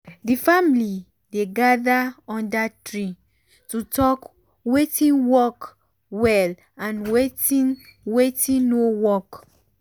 the family dey gather under tree to talk wetin work well and wetin wetin no work.